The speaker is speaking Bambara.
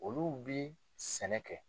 Olu bi sɛnɛ kɛ.